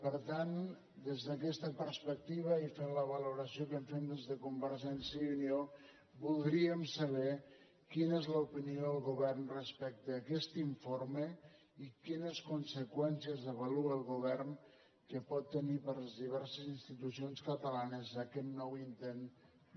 per tant des d’aquesta perspectiva i fent la valoració que en fem des de convergència i unió voldríem saber quina és l’opinió del govern respecte a aquest informe i quines conseqüències avalua el govern que pot tenir per a les diverses institucions catalanes aquest nou intent de